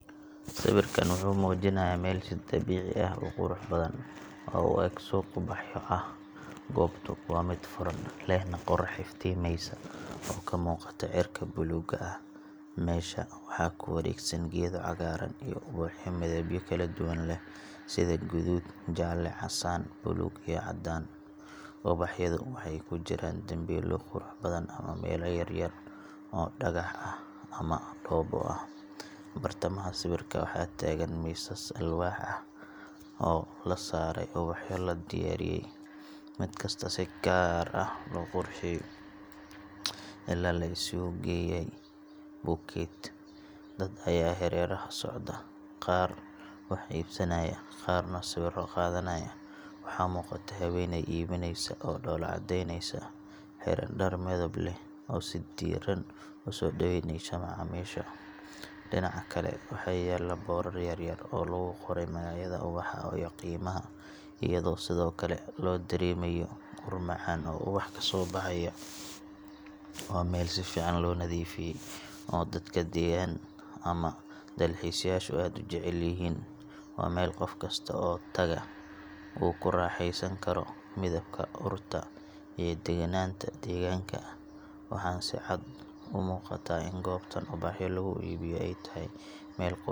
Sawirkan wuxuu muujinayaa meel si dabiici ah u qurux badan, oo u eg suuq ubaxyo ah. Goobtu waa mid furan, lehna qorrax iftiimeysa oo ka muuqata cirka buluugga ah. Meesha waxaa ku wareegsan geedo cagaaran iyo ubaxyo midabyo kala duwan leh sida guduud, jaalle, casaan, buluug iyo cadaan. Ubaxyadu waxay ku jiraan dambiilo qurux badan ama weelal yar-yar oo dhagax ah ama dhoobo ah. Bartamaha sawirka waxaa taagan miisas alwaax ah oo la saaray ubaxyo la diyaariyey, mid kasta si gaar ah loo qurxiyey oo la isugu geeyey bouquet. Dad ayaa hareeraha socda, qaar wax iibsanaya, qaarna sawirro qaadanaya. Waxaa muuqata haweeney iibinaysa oo dhoolla-caddaynaysa, xiran dhar midab leh, oo si diirran u soo dhaweyneysa macaamiisha. Dhinaca kale, waxaa yaal boorar yaryar oo lagu qoray magacyada ubaxa iyo qiimaha, iyadoo sidoo kale loo dareemayo ur macaan oo ubax ka soo baxaya. Waa meel si fiican loo nadiifiyey, oo dadka deggan ama dalxiisayaashu aad u jecel yihiin. Waa meel qof kasta oo tagaa uu ku raaxaysan karo midabka, urta, iyo degenaanta deegaanka – waxaana si cad u muuqata in goobtan ubaxyo lagu iibiyo ay tahay meel qurux gaar ah leh, lana jecel yahay.